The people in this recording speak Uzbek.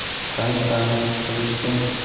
tanish ta’mni his qilish uchun.